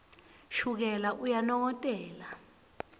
shukela uyanongotela